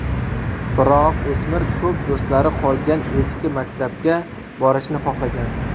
Biroq o‘smir ko‘p do‘stlari qolgan eski maktabga borishni xohlagan.